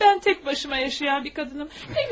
Mən təkbaşıma yaşayan bir qadınam.